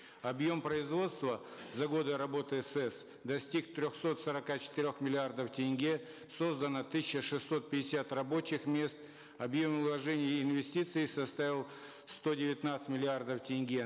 объем производства за годы работы сэз достиг трехсот сорока четырех миллиардов тенге создано тысяча шестьсот пятьдесят рабочих мест объем вложений и инвестиций составил сто девятнадцать миллиардов тенге